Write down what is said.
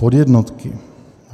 Podjednotky.